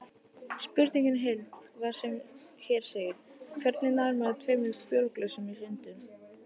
Spurningin í heild var sem hér segir: Hvernig nær maður tveimur bjórglösum í sundur?